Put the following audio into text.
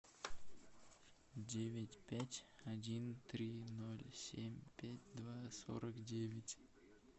девять пять один три ноль семь пять два сорок девять